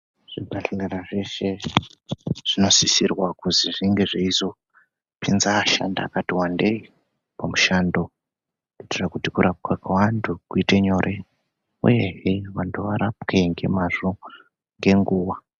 Zvibhahlara zveshe zvinosisirwa kuzi zvinge zveizopinza ashandi akati wandei pamishando. Kuitira kuti kurapwa kwevantu kuite nyore. Uyehe vantu varapwe ngemazvo, ngenguva.